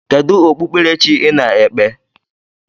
Kedu okpukpere chi ị na-ekpe?